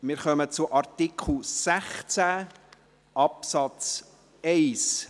Wir kommen zum Artikel 16 Absatz 1.